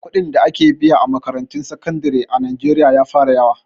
Kuɗin da ake biya a makarantun sakandire a najeriya ya fara yawa